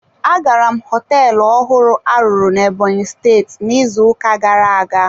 Agara m hoteelu ọhụrụ a rụrụ na Ebonyi steeti n'izu ụka gara-aga.